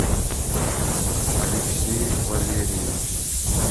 алексей валерьевич